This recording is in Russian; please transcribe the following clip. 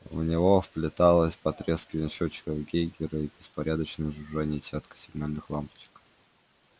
в него вплеталось потрескивание счётчиков гейгера и беспорядочное жужжание десятка сигнальных лампочек